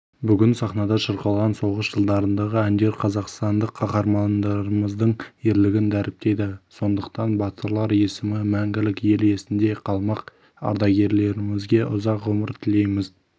бүгін сахнада шырқалған соғыс жылдарындағы әндер қазақстандық қаһармандарымыздың ерлігін дәріптейді сондықтан батырлар есімі мәңгілік ел есінде қалмақ ардагерлерімізге ұзақ ғұмыр тілейміз